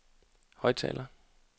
højttaler